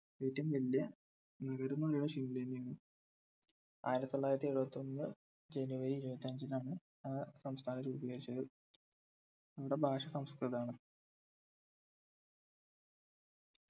ഏറ്റവും വലിയ നഗരംന്ന് പറയ്ന്നത് ഷിംല തന്നെയാണ് ആയിരത്തിത്തൊള്ളായിരത്തിഎഴുപത്തിഒന്ന് january ഇരുപത്തിഅഞ്ചിന് ആണ് ആ സംസ്ഥാനം രൂപീകരിച്ചത് ഇവിടെ ഭാഷ സംസ്കൃതം ആണ്